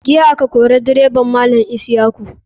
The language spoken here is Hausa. Jiya a ka kori direba malam isyaku.